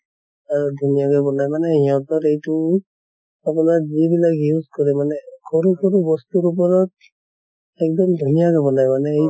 আৰু ধুনীয়াকে বনায় মানে হিহঁতৰ এইটো আপোনাৰ যি বিলাক use কৰে মানে সৰু সৰু বস্তুৰ ওপৰত এক্দম ধুনীয়াকে বনায় মানে এই